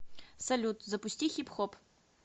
салют запусти хипхоп